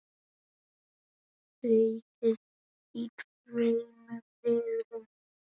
Leikið í tveimur riðlum.